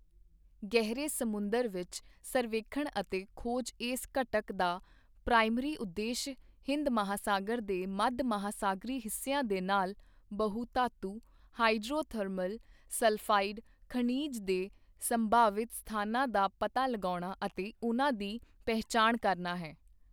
ਗਹਿਰੇ ਸਮੁੰਦਰ ਵਿੱਚ ਸਰਵੇਖਣ ਅਤੇ ਖੋਜ ਇਸ ਘਟਕ ਦਾ ਪ੍ਰਾਇਮਰੀ ਉਦੇਸ਼ ਹਿੰਦ ਮਹਾਸਾਗਰ ਦੇ ਮੱਧ ਮਹਾਸਾਗਰੀ ਹਿੱਸਿਆਂ ਦੇ ਨਾਲ ਬਹੁ ਧਾਤੁ ਹਾਇਡ੍ਰੋਥਰਮਲ ਸਲਫਾਇਡ ਖਣਿਜ ਦੇ ਸੰਭਾਵਿਤ ਸਥਾਨਾਂ ਦਾ ਪਤਾ ਲਗਾਉਣਾ ਅਤੇ ਉਨ੍ਹਾਂ ਦੀ ਪਹਿਚਾਣ ਕਰਨਾ ਹੈ।